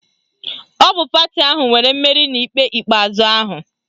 Ọ bụ pati ahụ nwere mmeri n'ikpe ikpeazụ ahụ